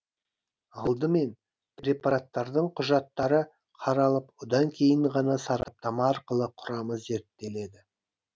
алдымен препараттардың құжаттары қаралып одан кейін ғана сараптама арқылы құрамы зерттеледі